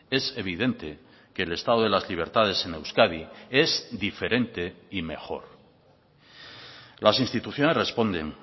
es evidente que el estado de las libertades en euskadi es diferente y mejor las instituciones responden